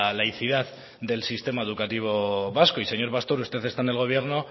laicidad del sistema educativo vasco y señor pastor usted está en el gobierno